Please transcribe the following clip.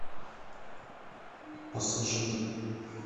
пассажиры